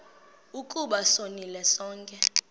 ukuba sonile sonke